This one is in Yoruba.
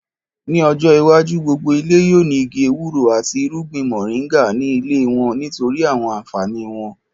Ní ọjọ́ iwájú, gbogbo ilé yóò ní igi ewúro àti irúgbìn mọ̀ríńgà ní ilé wọ́n nítorí àwọn ànfàní wọn